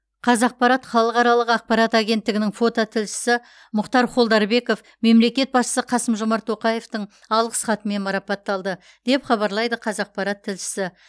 қазақпарат халықаралық ақпарат агенттігінің фототілшісі мұхтар холдарбеков мемлекет басшысы қасым жомарт тоқаевтың алғыс хатымен марапатталды деп хабарлайды қазақпарат тілшісі